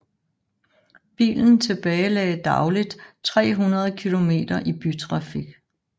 Bilen tilbagelagde dagligt 300 km i bytrafik